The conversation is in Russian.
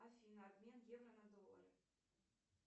афина обмен евро на доллары